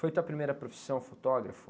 Foi a tua primeira profissão, fotógrafo?